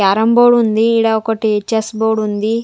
Carrom board ఉంది ఈడ ఒకటి చెస్ బోర్డు ఉంది.